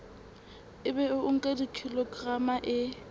ebe o nka kilograma e